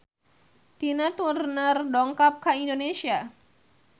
Tina Turner dongkap ka Indonesia